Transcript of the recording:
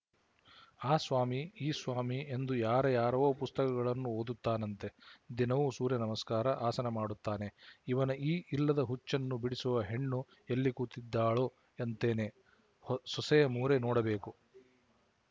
ಆ ಸ್ವಾಮಿ ಈ ಸ್ವಾಮಿ ಎಂದು ಯಾರ ಯಾರವೋ ಪುಸ್ತಕಗಳನ್ನು ಓದುತ್ತಾನಂತೆ ದಿನವೂ ಸೂರ್ಯನಮಸ್ಕಾರ ಆಸನಾ ಮಾಡುತ್ತಾನೆ ಇವನ ಈ ಇಲ್ಲದ ಹುಚ್ಚನ್ನು ಬಿಡಿಸುವ ಹೆಣ್ಣು ಎಲ್ಲಿ ಕೂತಿದ್ದಾಳು ಅಂತೇನೆ ಸೊಸೆಯ ಮೋರೆ ನೋಡಬೇಕು